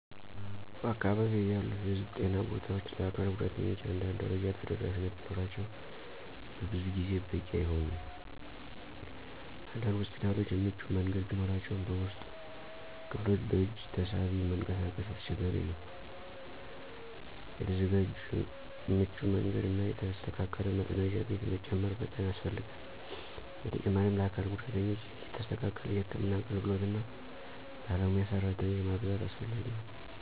በአካባቢዬ ያሉ የህዝብ ጤና ቦታዎች ለአካል ጉዳተኞች አንዳንድ ደረጃ ተደራሽነት ቢኖራቸውም በብዙ ጊዜ በቂ አይሆንም። አንዳንድ ሆስፒታሎች የምቹ መንገድ ቢኖራቸውም በውስጡ ክፍሎች በእጅ ተሳቢ መንቀሳቀስ አስቸጋሪ ነው። የተዘጋጀ ምቹ መንገድ እና የተስተካከለ መጸዳጃ ቤት መጨመር በጣም ያስፈልጋል። በተጨማሪም ለአካል ጉዳተኞች የተስተካከለ የህክምና አገልግሎት እና ባለሙያ ሰራተኞች ማበዛት አስፈላጊ ነው።